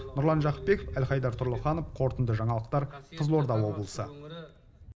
нұрлан жақыпбеков әлхайдар тұрлыханов қорытынды жаңалықтар қызылорда облысы